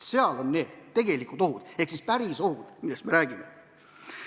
Seal on need tegelikud ohud ehk siis päris ohud, millest me räägime.